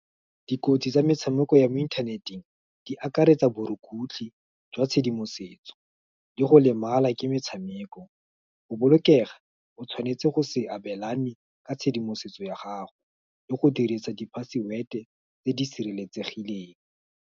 Dikotsi tsa metshameko ya mo inthaneteng, di akaretsa borukutlhi, jwa tshedimosetso, le go lemala ke metshameko, go bolokega, o tshwanetse go se abelane, ka tshedimosetso ya gago, le go dirisa di password tse di sireletsegileng.